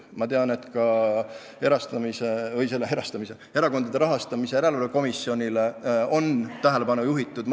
Ma tean, et ka Erakondade Rahastamise Järelevalve Komisjoni tähelepanu on sellele juhitud.